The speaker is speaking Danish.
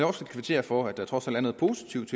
også kvittere for at der trods alt er noget positivt